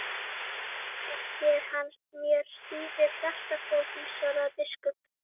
Ekki er hann mér síður hjartfólginn, svaraði biskup.